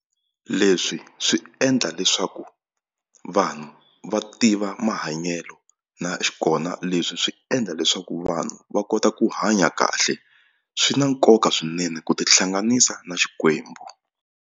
Leswi swi endla leswaku vanhu va tiva mahanyelo na kona leswi swi endla leswaku vanhu va kota ku hanya kahle swi na nkoka swinene ku tihlanganisa na Xikwembu.